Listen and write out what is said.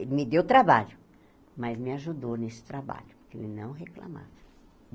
Ele me deu trabalho, mas me ajudou nesse trabalho, porque ele não reclamava.